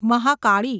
Mahakali